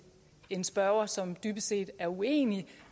en spørger som dybest set er uenig